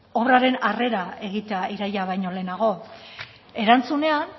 obraren arrera egitea iraila baino lehenago erantzunean